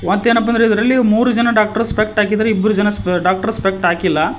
ಮತ್ತೇನಪ್ಪ ಅಂದ್ರೆ ಇದರಲ್ಲಿ ಮೂರು ಜನ ಡಾಕ್ಟರ್ ಸ್ಪೆಕ್ಟ್ ಹಾಕಿದ್ದಾರೆ ಇಬ್ಬರ್ ಜನ ಡಾಕ್ಟರ್ ಸ್ಪೆಕ್ಟ್ ಹಾಕಿಲ್ಲ.